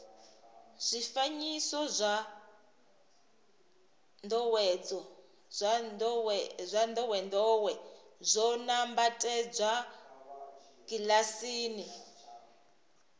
zwifanyiso zwa ndowendowe zwo nambatsedzwa kilasini